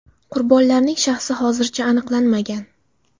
Qurbonlarning shaxsi hozircha aniqlanmagan.